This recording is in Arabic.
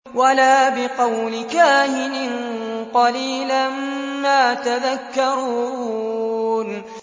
وَلَا بِقَوْلِ كَاهِنٍ ۚ قَلِيلًا مَّا تَذَكَّرُونَ